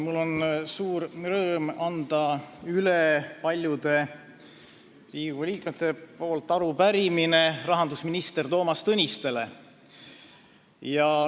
Mul on suur rõõm anda paljude Riigikogu liikmete nimel üle arupärimine rahandusminister Toomas Tõnistele.